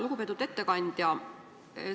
Lugupeetud ettekandja!